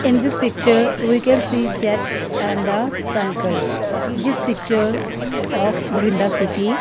in this picture we can see jet and a cycle this picture of brinda city.